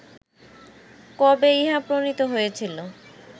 কবে ইহা প্রণীত হইয়াছিল